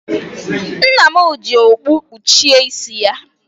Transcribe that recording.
Nna m ji okpu kpuchie isi ya.